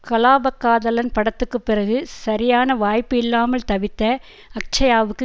கலாபக்காதலன் படத்துக்குப் பிறகு சரியான வாய்ப்பு இல்லாமல் தவித்த அக்ஷ்யாவுக்கு